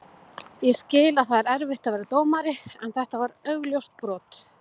Ég skil að það er erfitt að vera dómari en þetta var augljóst brot.